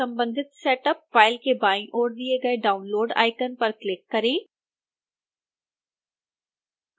संबंधित setup file के बाईं ओर दिए गए download आइकन पर क्लिक करें